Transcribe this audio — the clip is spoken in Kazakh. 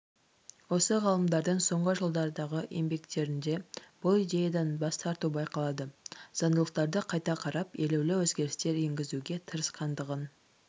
осы ғалымдардың соңғы жылдардағы еңбектерінде бұл идеядан бас тарту байқалады заңдылықтарды қайта қарап елеулі өзгерістер енгізуге тырысқандығын